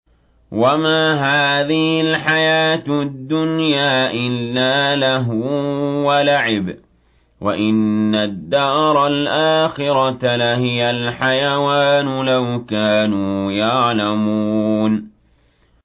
وَمَا هَٰذِهِ الْحَيَاةُ الدُّنْيَا إِلَّا لَهْوٌ وَلَعِبٌ ۚ وَإِنَّ الدَّارَ الْآخِرَةَ لَهِيَ الْحَيَوَانُ ۚ لَوْ كَانُوا يَعْلَمُونَ